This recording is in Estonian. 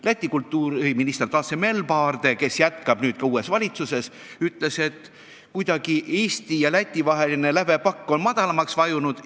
Läti kultuuriminister Dace Melbarde, kes jätkab nüüd ka uues valitsuses, ütles, et Eesti ja Läti vaheline lävepakk on kuidagi madalamaks vajunud.